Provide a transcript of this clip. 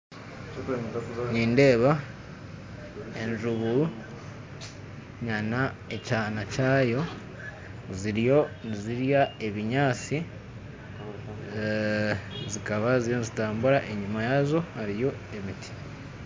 Nindeeba enjubu na ekyana kyaayo ziriyo nizirya ebinyatsi zikaba ziriyo nizitambura, enyima yaazo hariyo emiti.